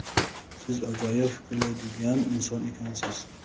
siz ajoyib fikrlaydigan inson ekansiz.